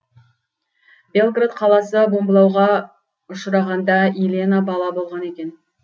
белград қаласы бомбылауға ұшырағанда илена бала болған екен